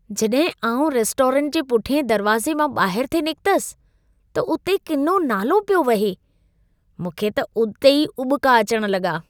जॾहिं आउं रेस्टोरेंट जे पुठिएं दरवाज़े मां ॿाहिरि थे निकितसि, त उते किनो नालो पियो वहे। मूंखे त उते ई उॿिका अचण लॻा।